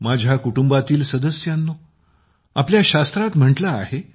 माझ्या कुटुंबातील सदस्यांनो आपल्या शास्त्रात म्हटले आहे